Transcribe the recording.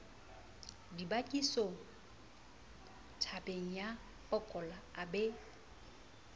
dibakisotabeng ya pokola a be